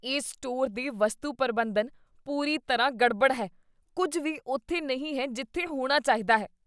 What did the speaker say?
ਇਸ ਸਟੋਰ ਦੇ ਵਸਤੂ ਪ੍ਰਬੰਧਨ ਪੂਰੀ ਤਰ੍ਹਾਂ ਗੜਬੜ ਹੈ। ਕੁੱਝ ਵੀ ਉੱਥੇ ਨਹੀਂ ਹੈ ਜਿੱਥੇ ਹੋਣਾ ਚਾਹੀਦਾ ਹੈ।